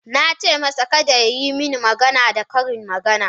Na ce masa, Kada ya yi mini magana da karin magana